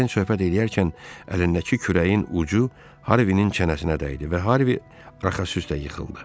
Den söhbət eləyərken əlindəki kürəyin ucu Harvinin çənəsinə dəydi və Harvi arxası üstə yıxıldı.